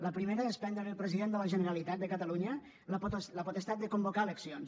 la primera és prendre li al president de la generalitat de catalunya la potestat de convocar eleccions